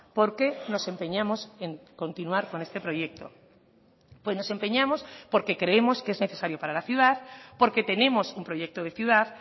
por qué nos empeñamos en continuar con este proyecto pues nos empeñamos porque creemos que es necesario para la ciudad porque tenemos un proyecto de ciudad